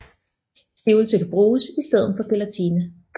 Stivelse kan bruges i stedet for gelatine